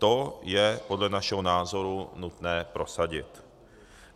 To je podle našeho názoru nutné prosadit.